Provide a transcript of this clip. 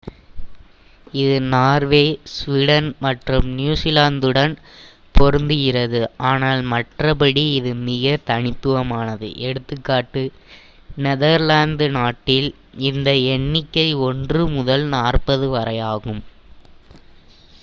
இது Norway Sweden மற்றும் நியுசிலாந்துடன் பொருந்துகிறது ஆனால் மற்றபடி இது மிக தனித்துவமானது எ.கா. நெதர்லாந்து நாட்டில் இந்த எண்ணிக்கை ஒன்று முதல் நாற்பது வரையாகும்